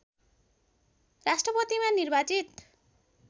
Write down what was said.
राष्ट्रपतिमा निर्वाचित